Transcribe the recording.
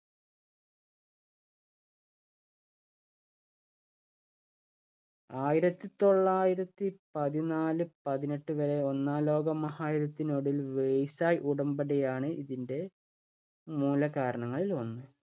ആയിരത്തി തൊള്ളായിരത്തി പതിനാല് പതിനെട്ട് വരെ ഒന്നാം ലോകമഹായുദ്ധത്തിനൊടുവിൽ versai ഉടമ്പടിയാണ് ഇതിന്‍റെ മൂലകാരണങ്ങളില്‍ ഒന്ന്.